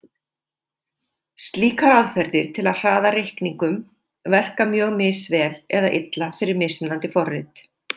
Slíkar aðferðir til að hraða reikningum verka mjög misvel eða illa fyrir mismunandi forrit.